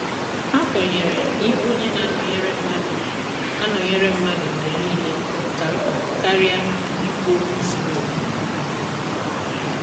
ha kwenyere na ịbụ onye na anọnyere mmadụ mgbe anọnyere mmadụ mgbe niile ka mkpa karịa ikwu okwu zuru oke.